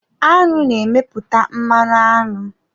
Aṅụ na-emepụta mmanụ aṅụ.